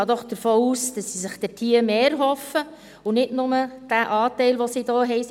Ich gehe doch davon aus, dass Sie sich dort mehr erhoffen und nicht nur den Anteil, den Sie hier haben.